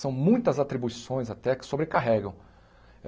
São muitas atribuições até que sobrecarregam.